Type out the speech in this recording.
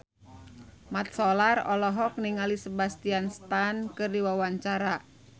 Mat Solar olohok ningali Sebastian Stan keur diwawancara